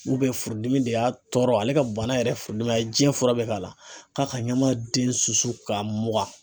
furudimi de y'a tɔɔrɔ ale ka bana yɛrɛ ye furudimi ye a ye diɲɛ fura bɛ k'a la , k'a ka ɲama den su susu ka mugan .